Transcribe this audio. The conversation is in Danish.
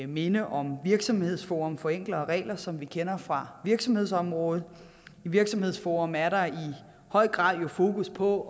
minde om virksomhedsforum for enklere regler som vi kender fra virksomhedsområdet i virksomhedsforum er der jo i høj grad fokus på